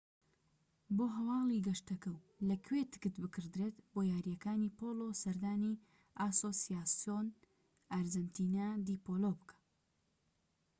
بۆ هەواڵی گەشتەکە و لەکوێ تکت بکڕدرێت بۆ یاریەکانی پۆلۆ سەردانی ئاسۆسیاسیۆن ئارجەنتینا دی پۆلۆ بکە